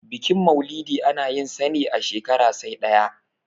bikin maulidi ana yinsa ne a shekara sai ɗaya